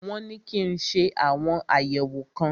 Wọn ní kí n ṣe àwọn àyẹ̀wò kan.